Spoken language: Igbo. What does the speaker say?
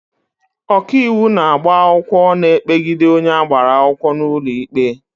Ọkaiwu na-agba akwụkwọ na-ekpegide onye agbara akwụkwọ n'ụlọ ikpe.